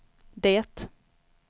det